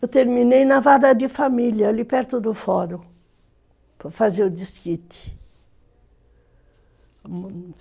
Eu terminei na vara de família, ali perto do fórum, para fazer o desquite.